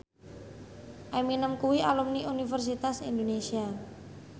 Eminem kuwi alumni Universitas Indonesia